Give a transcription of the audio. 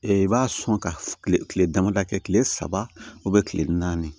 i b'a sɔn ka kile kile damadɔ kɛ kile saba kile naani